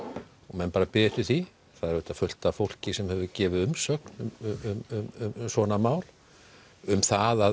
menn bara biðu eftir því það er auðvitað fullt af fólki sem hefur gefið umsögn um svona mál um það að